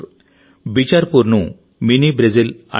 బిచార్పూర్ ను mini Brazil అంటారు